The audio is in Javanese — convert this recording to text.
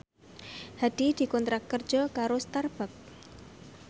Hadi dikontrak kerja karo Starbucks